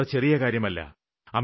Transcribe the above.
ഇതത്ര ചെറിയ കാര്യമല്ല